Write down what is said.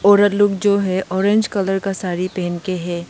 औरत लोग जो है ऑरेंज कलर का साड़ी पहन के है।